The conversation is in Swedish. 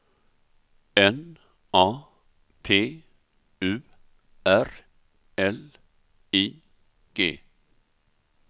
N A T U R L I G